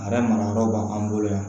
A yɛrɛ mara yɔrɔ b'an bolo yan